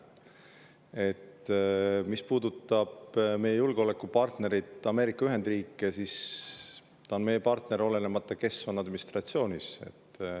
Mis puudutab meie julgeolekupartnerit Ameerika Ühendriike, siis ta on meie partner, olenemata sellest, kes on administratsioonis.